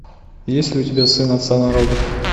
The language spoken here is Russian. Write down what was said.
есть ли у тебя сын отца народов